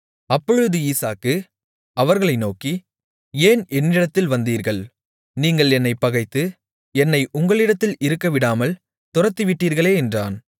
அப்பொழுது ஈசாக்கு அவர்களை நோக்கி ஏன் என்னிடத்தில் வந்தீர்கள் நீங்கள் என்னைப் பகைத்து என்னை உங்களிடத்தில் இருக்கவிடாமல் துரத்திவிட்டீர்களே என்றான்